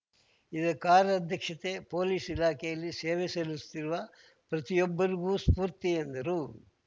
ಇವರ ಕಾರ್ಯದಕ್ಷತೆ ಪೊಲೀಸ್‌ ಇಲಾಖೆಯಲ್ಲಿ ಸೇವೆ ಸಲ್ಲಿಸುತ್ತಿರುವ ಪ್ರತಿಯೊಬ್ಬರಿಗೂ ಸ್ಫೂರ್ತಿ ಎಂದರು